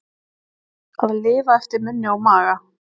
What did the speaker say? Að lifa eftir munni og maga